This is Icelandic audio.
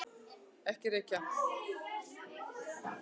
Ekki reykja!